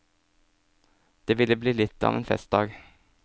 Det ville bli litt av en festdag.